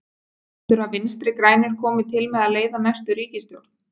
Heldurðu að Vinstri grænir komi til með að leiða næstu ríkisstjórn?